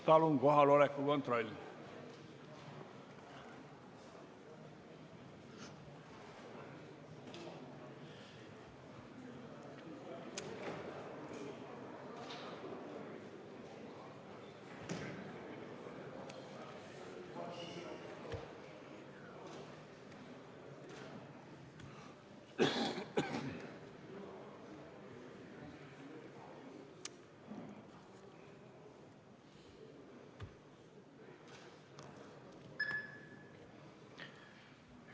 Palun kohaloleku kontroll!